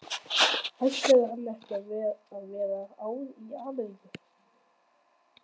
Ætlaði hann ekki að vera ár í Ameríku?